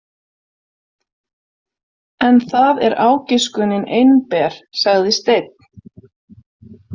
En það er ágiskunin einber, sagði Steinn.